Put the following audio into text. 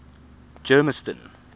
germiston